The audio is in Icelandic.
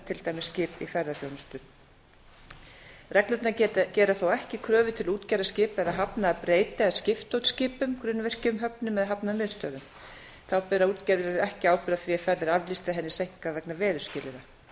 til dæmis skip í ferðaþjónustu reglurnar gera þó ekki kröfu til útgerðar skipa eða hafna eða breyta eða skipta út skipum grunnvirkjum höfnum eða hafnarmiðstöðvum þá bera útgerðir ekki ábyrgð á því að ferð er aflýst eða henni seinkar vegna veðurskilyrða